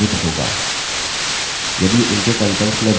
केवल prompt मुद्रित होगा